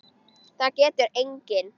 Það getur enginn!